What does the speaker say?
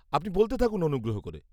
-আপনি বলতে থাকুন অনুগ্রহ করে।